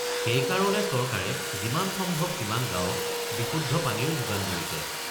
সেইকাৰণে চৰকাৰে যিমান সম্ভৱ সিমান গাঁৱক বিশুদ্ধ পানীৰ যোগান ধৰিছে।